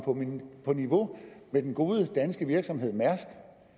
på niveau med den gode danske virksomhed mærsk